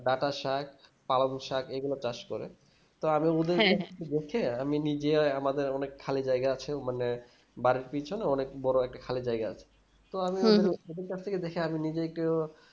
ডাটার সাগ কালাবু সাগ এগুলো চাষ করে তো আমি আমি নিজে আমাদের অনেক খালি জায়গা আছে মানে বাড়ির পিছনে অনেক বড় একটা খালি জায়গা আছে তো আমি ওদের কাছ থেকে দেখে আমি নিজেই একটু